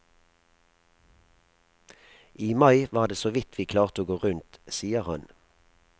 I mai var det såvidt vi klarte å gå rundt, sier han.